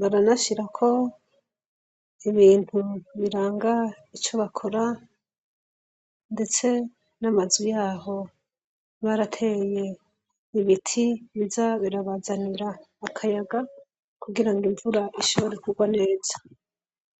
baranashirako ibintu biranga ico bakora ndetse namazu yaho barateye ibiti biza birabazanira akayaga kugira ngo imvura ishobore kurwa neza